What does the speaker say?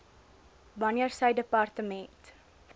wanneer sy departement